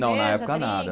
não na época nada